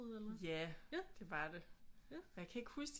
Ja det var det og jeg kan ikke huske